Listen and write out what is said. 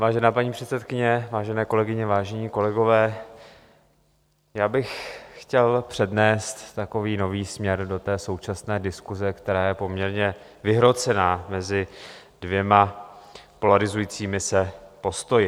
Vážená paní předsedkyně, vážené kolegyně, vážení kolegové, já bych chtěl přinést takový nový směr do té současné diskuse, která je poměrně vyhrocená mezi dvěma polarizujícími se postoji.